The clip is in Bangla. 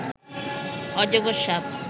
অজগর সাপ